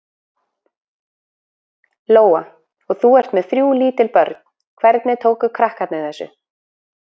Lóa: Og þú ert með þrjú lítil börn, hvernig tóku krakkarnir þessu?